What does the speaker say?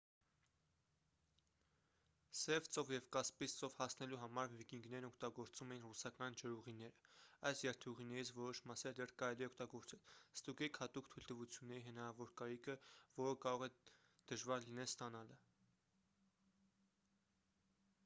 սև ծով և կասպից ծով հասնելու համար վիկինգներն օգտագործում էին ռուսական ջրուղիները։ այս երթուղիներից որոշ մասեր դեռ կարելի է օգտագործել։ ստուգեք հատուկ թույլտվությունների հնարավոր կարիքը որը կարող է դժվար լինի ստանալը։